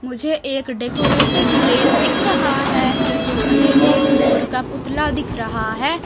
मुझे एक decorated place दिख रहा है मुझे एक मोर का पुतला दिख रहा है।